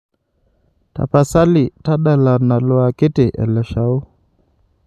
tapasali tadala nalo akiti ele lashao